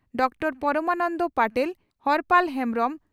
doctor Paramananda Patel Harpal Hembrom